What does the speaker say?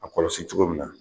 A kɔlɔsi cogo min na.